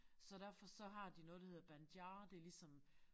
Så derfor så har de noget der hedder Banjar det ligesom